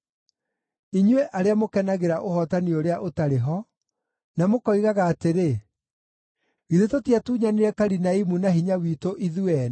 inyuĩ arĩa mũkenagĩra ũhootani ũrĩa ũtarĩ ho, na mũkoigaga atĩrĩ, “Githĩ tũtiatunyanire Karinaimu na hinya witũ ithuĩ ene?”